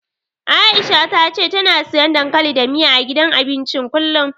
Aisha ta ce tana siyan dankali da miya, a gidan abincin kullum.